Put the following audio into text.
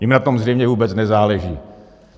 Jim na tom zřejmě vůbec nezáleží.